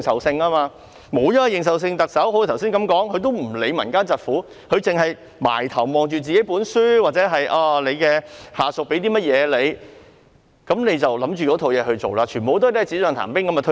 正如我剛才所說，沒有認受性的特首根本不會理會民間疾苦，只埋首閱讀自己的書本，或者看看下屬給她的文件，便照着文件去做，全部措施皆是"紙上談兵"般便推出。